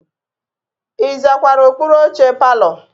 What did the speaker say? Ị zakwara okpuru oche palọ?